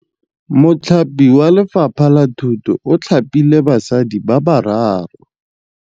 Mothapi wa Lefapha la Thutô o thapile basadi ba ba raro.